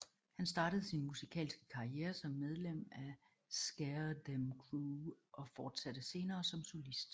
Han startede sin musikalske karriere som medlem af Scare Dem Crew og fortsatte senere som solist